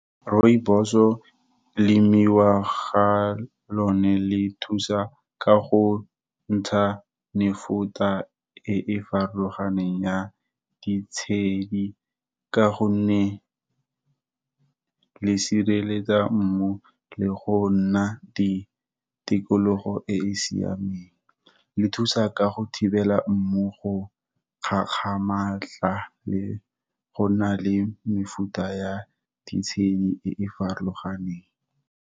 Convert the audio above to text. Rooibos-o, lemiwa ga lone le thusa ka go ntsha mefuta e e farologaneng ya ditshedi, ka gonne le sireletsa mmu, le go nna di tikologo e e siameng. Le thusa ka go thibela mmogo kgakgamatsa le go na le mefuta ya ditshenyi e e farologaneng.